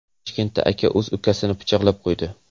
Toshkentda aka o‘z ukasini pichoqlab qo‘ydi.